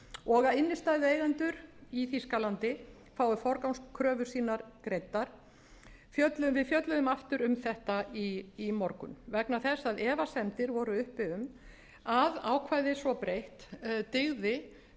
og að innstæðueigendur í þýskalandi fái forgangskröfur sínar greiddar fjölluðum við aftur um þetta í morgun vegna þess að efasemdir voru uppi um að ákvæðið svo breytt dygði